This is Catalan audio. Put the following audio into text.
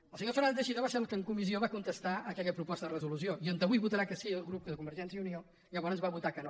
el senyor fer·nández teixidó va ser el que en comissió va contestar aquella proposta de resolució i on avui votarà que sí el grup de convergència i unió llavors va votar que no